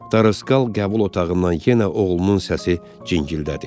Daroqal qəbul otağından yenə oğlunun səsi cingildədi.